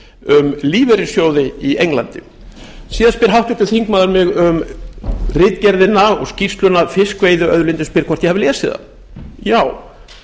um lífeyrissjóði í englandi síðan spyr háttvirtur þingmaður mig um ritgerðina og skýrsluna fiskveiðiauðlindin spyr hvort ég hafi lesið það já